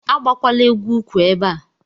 Agbakwala egwu ukwu ebe a.